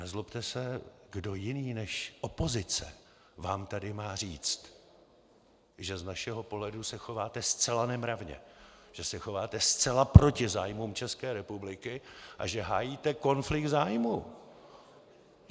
Nezlobte se, kdo jiný než opozice vám tady má říct, že z našeho pohledu se chováte zcela nemravně, že se chováte zcela proti zájmům České republiky a že hájíte konflikt zájmů?